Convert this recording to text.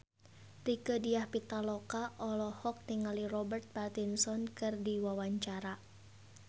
Rieke Diah Pitaloka olohok ningali Robert Pattinson keur diwawancara